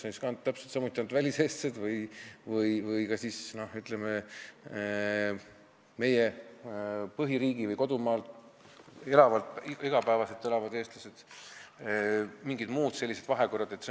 Kas täpselt samuti ainult väliseestlased või ka, ütleme, kodumaal iga päev elavad eestlased või on seal mingid muud sellised vahekorrad?